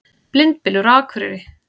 Blindbylur á Akureyri